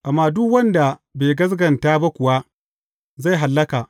Amma duk wanda bai gaskata ba kuwa, zai hallaka.